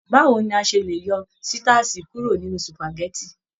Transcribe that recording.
Báwo ni a se le yọ sitasi kuro nínú supágẹ̀tì?